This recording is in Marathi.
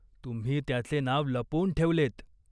तुम्ही त्याचे नाव लपवून ठेवलेत.